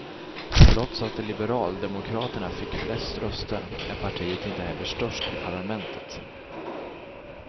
Trots att liberaldemokraterna fick flest röster är partiet inte heller störst i parlamentet.